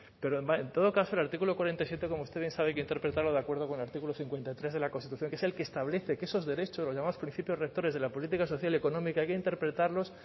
pero en todo caso el artículo cuarenta y siete como usted bien sabe hay que interpretarlo de acuerdo con el artículo cincuenta y tres de la constitución que es el que establece que esos derechos los llamamos principios rectores de la política social y económica hay que interpretarlos